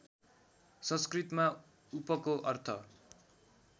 संस्कृतमा उपको अर्थ